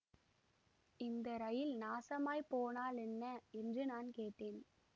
இந்த ரயில் நாசமாய்ப் போனாலென்ன என்று நான் கேட்டேன்